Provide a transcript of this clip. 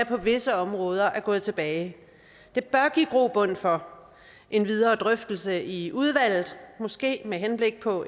på visse områder gået tilbage det bør give grobund for en videre drøftelse i udvalget måske med henblik på